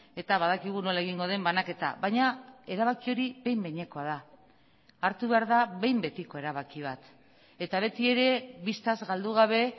eta badakigu nola egingo den banaketa baina erabaki hori behin behinekoa da hartu behar da behin betiko erabaki bat eta beti ere bistaz galdu gabe